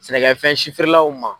Sɛnɛkɛfɛn si feere law ma.